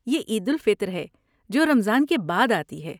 یہ عید الفطر ہے، جو رمضان کے بعد آتی ہے۔